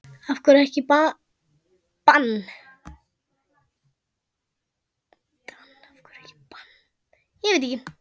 Af hverju ekki bann?